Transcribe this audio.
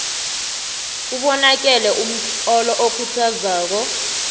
ubonakelemtlolo okhuthazako